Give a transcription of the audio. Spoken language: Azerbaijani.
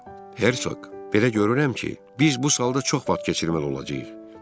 "Hersoq, belə görürəm ki, biz bu salda çox vaxt keçirməli olacağıq.